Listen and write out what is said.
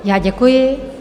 Já děkuji.